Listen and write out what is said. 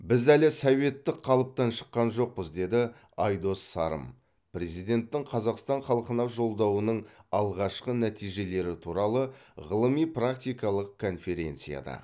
біз әлі советтік қалыптан шыққан жоқпыз деді айдос сарым президенттің қазақстан халқына жолдауының алғашқы нәтижелері туралы ғылыми практикалық конференцияда